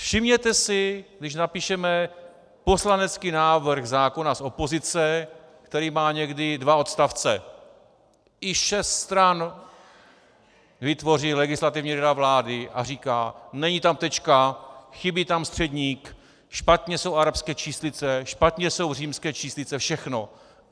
Všimněte si, když napíšeme poslanecký návrh zákona z opozice, který má někdy dva odstavce, i šest stran vytvoří Legislativní rada vlády a říká: Není tam tečka, chybí tam středník, špatně jsou arabské číslice, špatně jsou římské číslice, všechno.